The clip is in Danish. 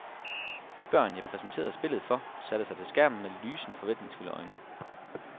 De børn, jeg præsenterede spillet for, satte sig til skærmen med lysende, forventningsfulde øjne.